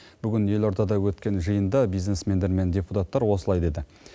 бүгін елордада өткен жиында бизнесмендер мен депутаттар осылай деді